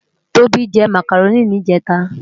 Tobi jè mákáróni nijètá